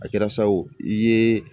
A kɛra sa o i ye